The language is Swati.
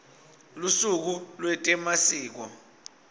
lusuku lwetemasiko